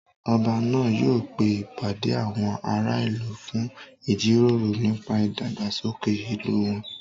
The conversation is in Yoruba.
Ọba náà yóò pe ìpàdé àwọn ará ìlú fún ìjíròrò nípa ìdàgbàsókè ìlú wọn